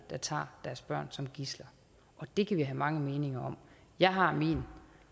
der tager deres børn som gidsler det kan vi have mange meninger om jeg har min